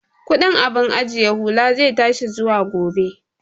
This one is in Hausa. Kudin abun ajiye hula zai tashi zuwa gobe